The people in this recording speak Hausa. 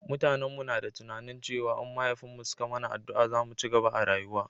mutanen mu na da tunani cewa in mahaifin mu suka mana addua za mu cigaba a rayuwa